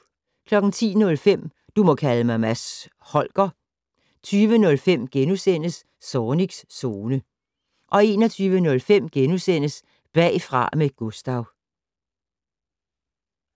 10:05: Du må kalde mig Mads Holger 20:05: Zornigs Zone * 21:05: Bagfra med Gustav *